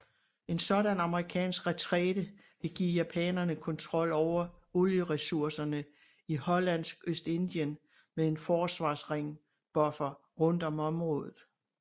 En sådan amerikansk retræte ville give japanerne kontrol over olieresurserne i Hollandsk Østindien med en forsvarsring buffer rundt om området